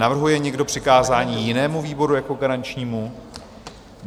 Navrhuje někdo přikázání jinému výboru jako garančnímu?